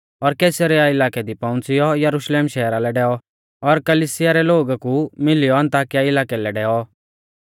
और कैसरिया इलाकै दी पौउंच़ियौ यरुशलेम शहरा लै डैऔ और कलिसिया रै लोगु कु मिलियौ अन्ताकिया इलाकै लै डैऔ